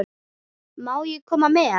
Má ég koma með?